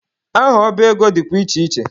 Aha ọba ego dịkwa iche iche.